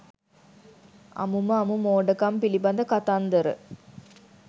අමුම අමු මෝඩකම් පිළිබඳ කතන්දර